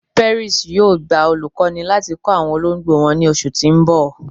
Perry's yóò gbà olùkọ́ni láti kọ awọn òlógbo wọn ni ọṣù tì n bọ̀.